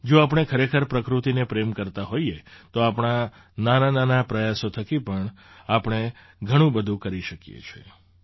જો આપણે ખરેખર પ્રકૃત્તિને પ્રેમ કરતા હોઈએ તો આપણા નાનાનાના પ્રયાસો થકી પણ આપણે ઘણું બધું કરી શકીએ તેમ છીએ